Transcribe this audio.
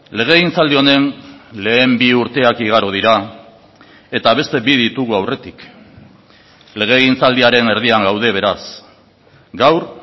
legegintzaldi honen lehen bi urteak igaro dira eta beste bi ditugu aurretik legegintzaldiaren erdian gaude beraz gaur